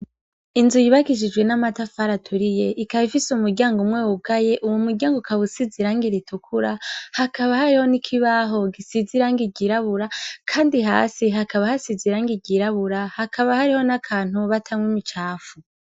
Inzu yibagishijwe n'amatafara aturiye ikabaifise u muryango umwe wugaye uwu muryango kabusizirangi ritukura hakaba hariho nikibaho gisizirango igirabura, kandi hasi hakaba hasiziranga igirabura hakaba hariho n'akantu mubatamwe imicafu.